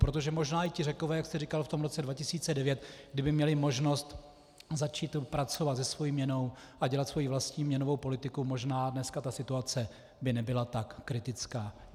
Protože možná i ti Řekové, jak jste říkal, v tom roce 2009, kdyby měli možnost začít pracovat se svou měnou a dělat svoji vlastní měnovou politiku, možná dneska ta situace by nebyla tak kritická.